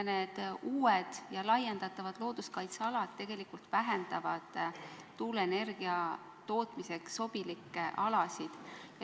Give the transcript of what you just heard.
Need uued ja laiendatavad looduskaitsealad vähendavad tuuleenergia tootmiseks sobilikke alasid.